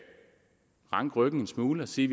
ranke ryggen en smule og sige